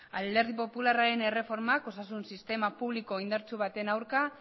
alderdi popularraren erreformak osasun sistema publiko indartsu baten aurka